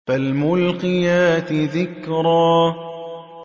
فَالْمُلْقِيَاتِ ذِكْرًا